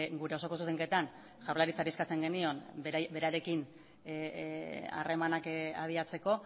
gure osoko zuzenketan jaurlaritzari eskatzen genion berarekin harremanak abiatzeko